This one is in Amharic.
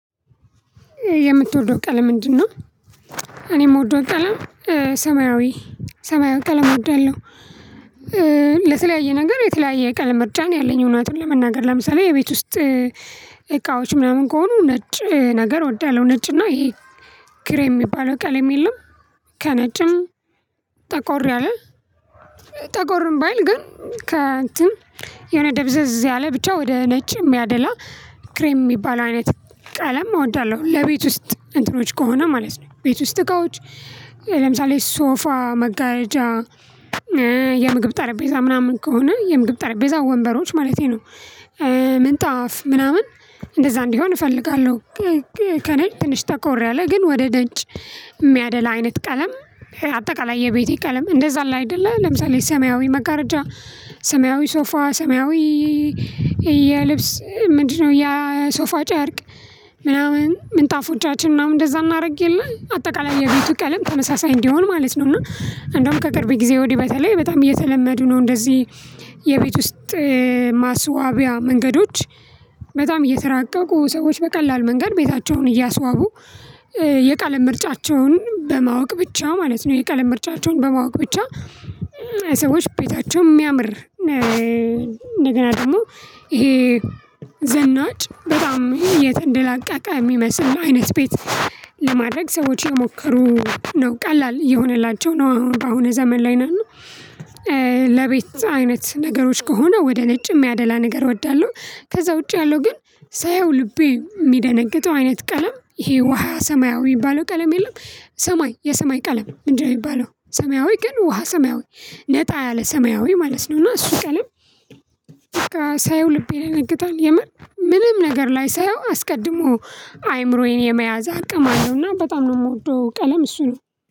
የምትወደው ቀለም ምንድነው? እኔም የምወደው ቀለም ሰማያዊ ሰማያዊ ቀለም እወዳለሁ። ለተለያየ ነገር የተለያየ ቀለም ምርጫ ነው ያለኝ እውነቱን ለመናገር ለምሳሌ የቤት ውስጥ እቃዎች ምናምን ከሆኑ ነጭ ነገር እወዳለሁ ነጭ እና ይሄ ክሬም የሚባለው ቀልድ የለም። ከነጭም ጠቆር ያለው ጠቆርም ባይል ግን ከእንትን የሆነ ደብዘዝ ያለ ብቻ ወደ ነጭ የሚያደላ ክሬም የሚባለው አይነት ቀለም እወዳለሁ። ለቤት ውስጥ እንትኖች ከሆነ ማለት ነው። ቤት ውስጥ እቃዎች ለምሳሌ ሶፋ መጋረጃ የምግብ ጠረጴዛ ምናምን ከሆነ የምግብ ጠረጴዛ ወንበሮች ማለቴ ነው። ምንጣፍ ምናምን እንደዛ እንዲሆን እፈልጋለሁ። ከነጭ ትንሽ ተቆርያለህ ግን ወደ ነጭ የሚያደላ አይነት ቀለም አጠቃላይ የቤቴ ቀለም እንደዛ አለ አይደለ ለምሳሌ ሰማያዊ መጋረጃ ሰማያዊ ሶፋ ሰማያዊ። የልብስ ምንድነው ያ ሶፋ ጫርቅ ምናምን ምንጣፎቻችን ምናምን እንደዛ እናድርግ የለ አጠቃላይ የቤቱ ቀለም ተመሳሳይ እንዲሆን ማለት ነው። እና እንደውም ከቅርብ ጊዜ ወዲህ በተለይ በጣም እየተለመዱ ነው። እንደዚህ የቤት ውስጥ ማስዋቢያ መንገዶች በጣም እየተራቀቁ ሰዎች በቀላል መንገድ ቤታቸውን እያስዋቡ። የቀለም ምርጫቸውን በማወቅ ብቻ ማለት ነው የቀለም ምርጫቸውን በማወቅ ብቻ። ሰዎች ቤታቸውን የሚያምር እንደገና ደግሞ ይሄ ዘናጭ በጣም የተንደላቀቀ የሚመስል ነው። አይነት ቤት ለማድረግ ሰዎች የሞከሩ ነው ቀላል ይሆንላቸው ነው። በአሁኑ ዘመን ላይ እና ለቤት አይነት ነገሮች ከሆነ ወደ ነጭ የሚያደላ ነገር እወዳለሁ። ከዛ ውጪ ያለው ግን ሳየው ልቤ የሚደነግጠው አይነት ቀለም ይሄ ውሃ ሰማያዊ የሚባለው ቀለም የለም። ሰማይ የሰማይ ቀለም እንደሚባለው ሰማያዊ ግን ውሃ ሰማያዊ ነጣ ያለ ሰማያዊ ማለት ነው። እና እሱ ቀለም በቃ ሳየው ልቤ ይደነግጣለህ የመን ምንም ነገር ላይ ሳየው አስቀድሞ አይምሮዬን የመያዝ አቅም አለውና በጣም ነው የምወደው። ቀለም እሱ ነው።